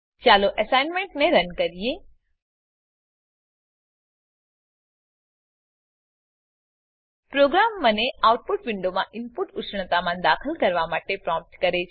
ચાલો એસાઈનમેંટને રન કરીએ પ્રોગ્રામ મને આઉટપુટ વિન્ડોમાં ઈનપુટ ઉષ્ણતામાન દાખલ કરવા માટે પ્રોમ્પ્ટ કરે છે